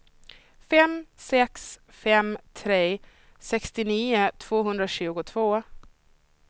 fem sex fem tre sextionio tvåhundratjugotvå